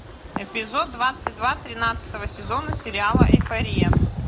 эпизод двадцать два тринадцатого сезона сериала эйфория